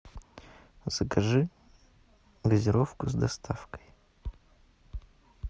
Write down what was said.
закажи газировку с доставкой